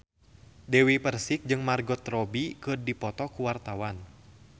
Dewi Persik jeung Margot Robbie keur dipoto ku wartawan